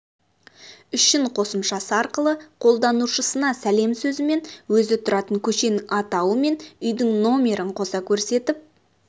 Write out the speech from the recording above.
үшін қосымшасы арқылы қолданушысына сәлем сөзімен өзі тұратын көшенің атауы мен үйдің нөмірін қоса көрсетіп